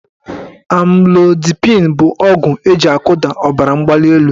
Amlodipịn bụ ọgwụ eji akụda ọbaramgbalịelu